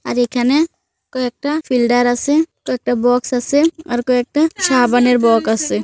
আর এখানে কয়েকটাফিল্ডার আছেকয়েকটা বক্স আছে .আর কয়েকটা সাবানের বক্স আছে।